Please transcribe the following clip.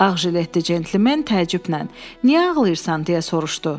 Ağ jiletdə cəntlmen təəccüblə: Niyə ağlayırsan, deyə soruşdu.